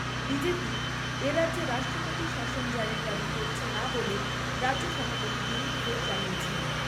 তিন। বিজেপি, এ রাজ্যে রাষ্ট্রপতি শাসন জারির দাবি করছে না বলে রাজ্য সভাপতি দিলীপ ঘোষ জানিয়েছেন।